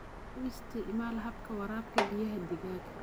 U isticmaal habka waraabka biyaha digaaga.